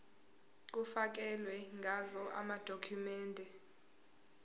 kufakelwe ngazo amadokhumende